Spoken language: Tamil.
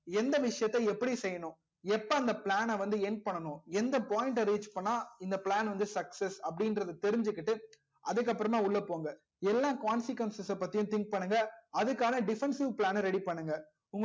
எந்த விஷயத்தை எப்படி செய்யணும் எப்ப அந்த plan ன வந்து end பண்ணனும் எந்த point ட reach பண்ணா இந்த plan success அப்டி இன்றத தெரிஞ்சிக்கிட்டு அதுக்கு அப்பறமா உள்ள போங்க எல்லா consequence பத்தியும் think பண்ணுங்க அதுக்கான defensive plan ன ready பண்ணுங்க